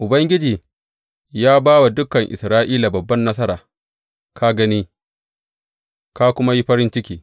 Ubangiji ya ba wa dukan Isra’ila babban nasara, ka gani, ka kuma yi farin ciki.